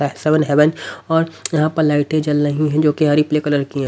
Seven heaven और यहाँ पर लाइटें जल रही है जो कि हरी प्ले कलर की हैं।